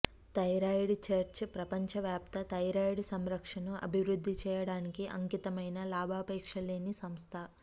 thyroid church ప్రపంచవ్యాప్త thyroid సంరక్షణను అభివృద్ధి చేయడానికి అంకితమైన లాభాపేక్ష లేని సంస్థ